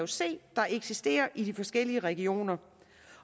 se der eksisterer mellem de forskellige regioner